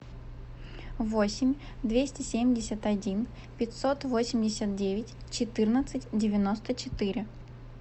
восемь двести семьдесят один пятьсот восемьдесят девять четырнадцать девяносто четыре